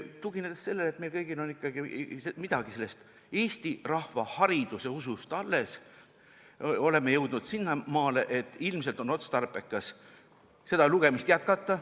Tuginedes sellele, et meil kõigil on ikkagi midagi sellest eesti rahva hariduseusust alles, oleme jõudnud sinnamaale, et ilmselt on otstarbekas seda lugemist jätkata.